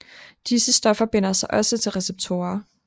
Disse stoffer binder sig også til receptorer